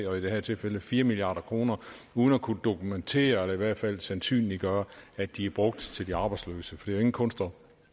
og i det her tilfælde fire milliard kroner uden at kunne dokumentere eller i hvert fald sandsynliggøre at de er brugt til de arbejdsløse for jo ingen kunst at